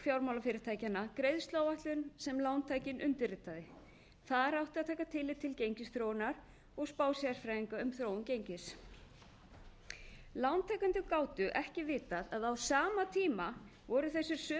fjármálafyrirtækjanna greiðsluáætlun sem lántakinn undirritaði þar átti að taka tillit til gengisþróunar og spá sérfræðinga um þróun gengis lántakendur gátu ekki vitað að á sama tíma voru þessir sömu